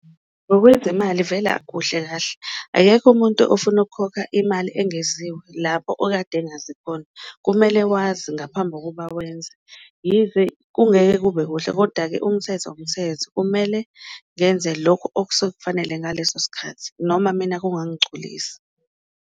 Ngokwezimali vele akukuhle kahle, akekho umuntu ofuna ukukhokha imali engeziwe lapho okade engazi khona, kumele wazi ngaphambi kokuba wenze yize kungeke kube kuhle koda-ke umthetho, umthetho. Kumele ngenze lokhu okusuke kufanele ngaleso sikhathi noma mina kungangigculisi.